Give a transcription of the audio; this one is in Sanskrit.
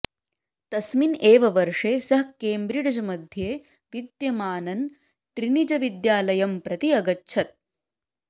तस्मिन् एव वर्षे सः केम्ब्रिड्ज्मध्ये विद्यमानं ट्रिनिटिविद्यालयं प्रति अगच्छत्